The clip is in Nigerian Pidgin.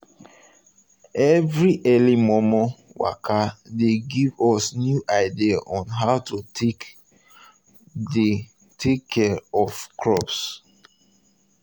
every early momo waka dey give us new idea on how to take dey take care of crops